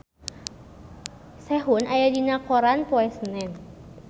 Sehun aya dina koran poe Senen